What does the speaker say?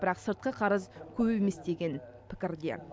бірақ сыртқы қарыз көп емес деген пікірде